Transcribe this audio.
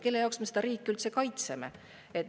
Kelle jaoks me seda riiki üldse kaitseme?